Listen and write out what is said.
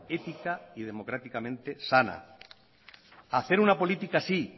ética y democráticamente sana hacer una política sí